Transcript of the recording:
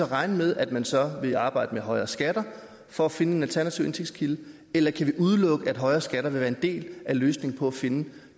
regne med at man så vil arbejde med højere skatter for at finde en alternativ indtægtskilde eller kan vi udelukke at højere skatter vil være en del af løsningen på at finde